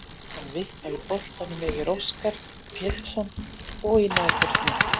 Hann vippaði boltanum yfir Óskar Pétursson og í nærhornið.